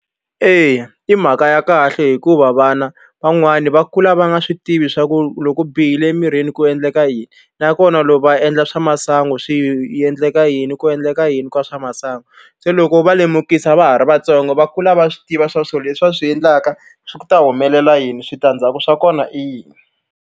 Eya i mhaka ya kahle hikuva vana van'wani va kula va nga swi tivi swa ku loko u bihile emirini ku endleka yini nakona loko va endla swa masangu swi endleka yini ku endleka yini ka swa masangu se loko u va lemukisa va ha ri vatsongo va kula va swi tiva swa swilo leswi va swi endlaka swi ta humelela yini switandzhaku swa kona i yini.